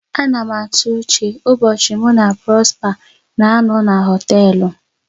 A na m atụ uche ụbọchị mụ na Prosper na-anọ na họtelu